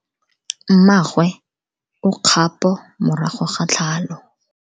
Mmagwe o kgapo morago ga tlhalo.